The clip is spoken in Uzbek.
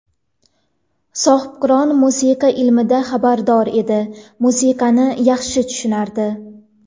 Sohibqiron musiqa ilmidan xabardor edi, musiqani yaxshi tushunardi.